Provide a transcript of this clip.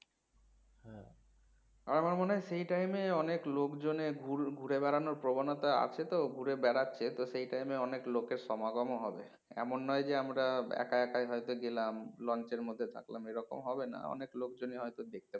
আমার মনে হয় সেই time এ অনেক লোকজনের ঘু~ ঘুরে বেড়ানোর প্রবণতা আছে তো ঘুরে বেড়াচ্ছে তো সেই time এ অনেক লোকের সমাগমও হবে এমন নয় যে আমরা একা একাই হয়তো গেলাম launch এর মধ্যে থাকলাম এরকম হবে না অনেক লোকজনই হয়তো দেখতে